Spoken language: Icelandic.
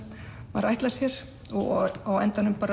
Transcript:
maður ætlar sér á endanum